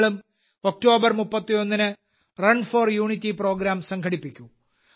നിങ്ങളും ഒക്ടോബർ 31ന് run for unity program സംഘടിപ്പിക്കൂ